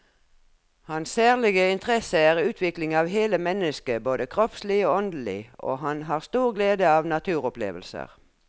Hans særlige interesse er utvikling av hele mennesket både kroppslig og åndelig, og han har stor glede av naturopplevelser.